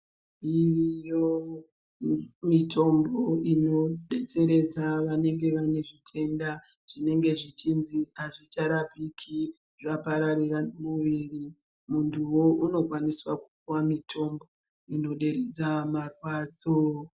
Dziriyo mitombo ino detseredza vanenge vane zvitenda zvinenge zvichinzi azvicha rapiki zva pararira mu mwiri muntuwo uno kwanisa kupuwa mitombo ino deredza marwadzo.